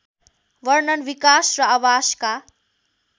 वर्णन विकास र आवासका